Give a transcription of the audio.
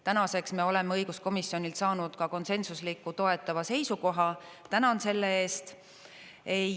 Tänaseks me oleme õiguskomisjonilt saanud ka konsensusliku toetava seisukoha, tänan selle eest!